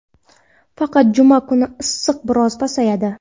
Faqat juma kuni issiq biroz pasayadi.